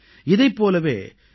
இதைப் போலவே yourstory